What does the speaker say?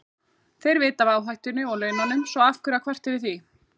Þeir vita af áhættunni og laununum, svo af hverju að kvarta yfir því?